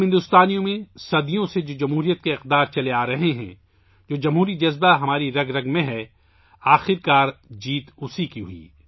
ہندوستان کے لوگوں کے لیے جمہوریت کی جو قدریں صدیوں سے چلی آرہی ہیں، جمہوری جذبہ جو ہماری رگوں میں ہے، آخرکار اس کی فتح ہوئی ہے